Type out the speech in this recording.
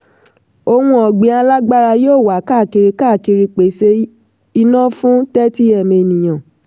ohunọ̀gbìn alágbára yóò wà káàkiri káàkiri pèsè iná fún 30m ènìyàn.